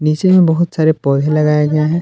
इसमें बहुत सारे पौधे लगाए हुए हैं।